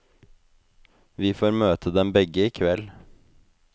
Vi får møte dem begge i kveld.